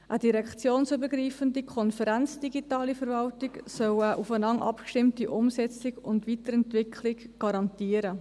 Eine direktionsübergreifende Konferenz Digitale Verwaltung soll eine aufeinander abgestimmte Umsetzung und Weiterentwicklung garantieren.